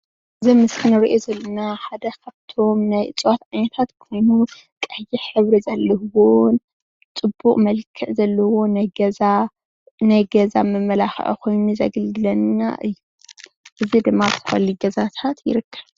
እዚ ኣብ ምስሊ እንሪኦ ዘለና ሓደ ካብቶም ናይ እፅዋት ዓይነታት ኾይኑ ፤ ቀይሕ ሕብሪ ዘለዎ ፅቡቅ መልክዕ ዘለዎ ናይ ገዛ መመላኽዒ ኽይኒ ዘገልግለና እዩ ።እዙይ ዴማ ኣብ ዝተፈላለዩ ገዛታት ይርከብ።